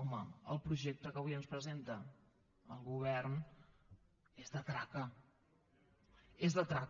home el projecte que avui ens presenta el govern és de traca és de traca